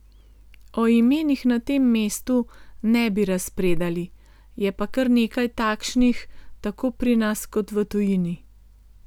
O imenih na tem mestu ne bi razpredali, je pa kar nekaj takšnih tako pri nas kot v tujini.